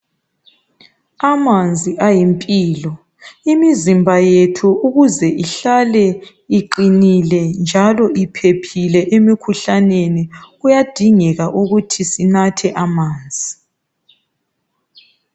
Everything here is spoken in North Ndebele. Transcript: Amanzi ayimpilo ,imizimba yethu ukuze ihlale iqinile njalo iphephile emikhuhlaneni kuyadingeka ukuthi sinathe amanzi.